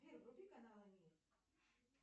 сбер вруби канал мир